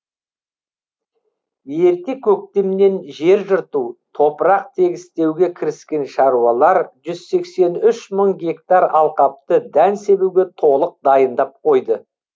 ерте көктемнен жер жырту топырақ тегістеуге кіріскен шаруалар жүз сексен үш мың гектар алқапты дән себуге толық дайындап қойды